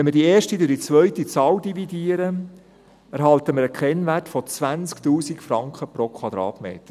Wenn wir die erste durch die zweite Zahl dividieren, erhalten wir einen Kennwert von 20 000 Franken pro Quadratmeter.